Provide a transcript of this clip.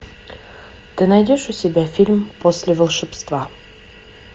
ты найдешь у себя фильм после волшебства